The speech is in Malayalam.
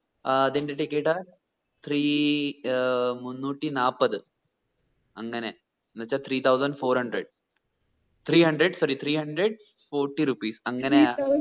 ഏർ അതിന്റെ ticket ആ three ഏർ മുന്നൂറ്റി നാപ്പത് അങ്ങനെഎന്ന് വെച്ചാ three thuosand four hundred three hundred sorry three hundred fourty rupees അങ്ങനെയാ